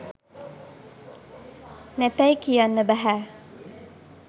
නැතැයි කියන්න බැහැ.